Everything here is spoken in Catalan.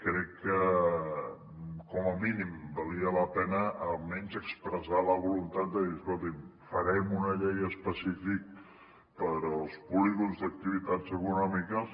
crec que com a mínim valia la pena almenys expressar la voluntat de dir escolti’m farem una llei específica per als polígons d’activitats econòmiques